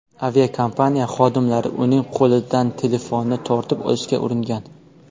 Aviakompaniya xodimlari uning qo‘lidan telefonni tortib olishga uringan.